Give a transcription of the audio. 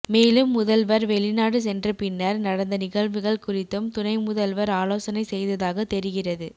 மேலும் முதல்வர் வெளிநாடு சென்றபின்னர் நடந்த நிகழ்வுகள் குறித்தும் துணை முதல்வர் ஆலோசனை செய்ததாக தெரிகிறது